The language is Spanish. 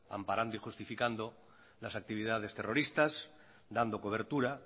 amparando y justificando las actividades terroristas dando cobertura